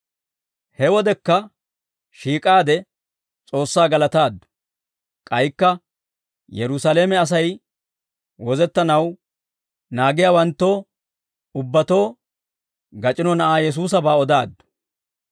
He wodekka shiik'aade S'oossaa galataaddu; K'aykka Yerusaalame Asay wozettanaw naagiyaawanttoo ubbatoo gac'ino Na'aa Yesuusabaa odaaddu.